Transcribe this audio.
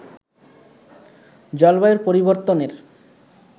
জলবায়ুর পরিবর্তনের